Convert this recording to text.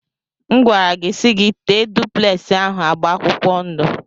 M gwara gị si gi tee dupleksi ahụ agba akwụkwọ ndụ.